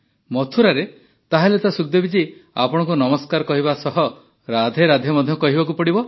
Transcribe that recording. ମଥୁରାରେ ତାହେଲେ ତ ସୁଖଦେବୀ ଜୀ ଆପଣଙ୍କୁ ନମସ୍କାର କହିବା ସହ ରାଧେ ରାଧେ ମଧ୍ୟ କହିବାକୁ ପଡ଼ିବ